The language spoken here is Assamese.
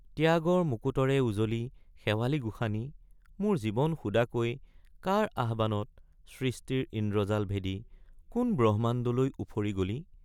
ত্যাগৰ মুকুটৰে উজলি শেৱালি গোসানী মোৰ জীৱন সুদাকৈ কাৰ আহ্বানত সৃষ্টিৰ ইন্দ্ৰজাল ভেদি— কোন ব্ৰহ্মাণ্ডলৈ উফৰি গলি?